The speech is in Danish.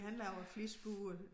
Han laver flitsbuer